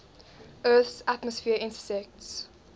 earth's atmosphere intersects